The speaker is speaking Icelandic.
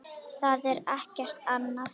Það er ekkert annað.